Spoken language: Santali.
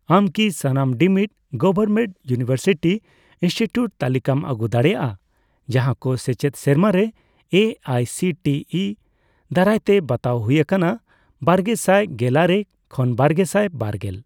ᱟᱢ ᱠᱤ ᱥᱟᱱᱟᱢ ᱰᱤᱢᱤᱰ ᱜᱚᱵᱷᱚᱨᱢᱮᱱᱴ ᱤᱭᱩᱱᱤᱵᱷᱟᱨᱥᱤᱴᱤ ᱤᱱᱥᱴᱤᱴᱤᱭᱩᱴ ᱛᱟᱞᱤᱠᱟᱢ ᱟᱹᱜᱩ ᱫᱟᱲᱮᱭᱟᱜᱼᱟ ᱡᱟᱦᱟᱸᱠᱚ ᱥᱮᱪᱮᱫ ᱥᱮᱨᱢᱟᱨᱮ A I C T E ᱫᱟᱨᱟᱭᱛᱮ ᱵᱟᱛᱟᱣ ᱦᱩᱭ ᱟᱠᱟᱱᱟ ᱵᱟᱨᱜᱮᱥᱟᱭ ᱜᱮᱞᱟᱨᱮ ᱠᱷᱚᱱ ᱵᱟᱨᱜᱮᱥᱟᱭ ᱵᱟᱨᱜᱮᱞ ?